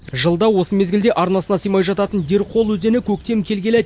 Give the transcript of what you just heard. жылда осы мезгілде арнасына сыймай жататын дерқол өзені көктем келгелі